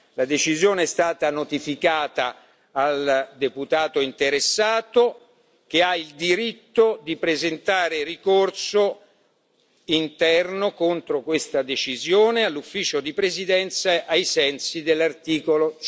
La decisione è stata notificata al deputato interessato che ha il diritto di presentare ricorso interno contro questa decisione all'Ufficio di presidenza ai sensi dell'articolo